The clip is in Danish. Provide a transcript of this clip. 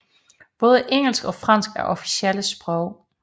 Både engelsk og fransk er officielle sprog